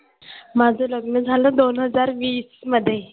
माझं लग्न झालं दोन हजार वीस मध्ये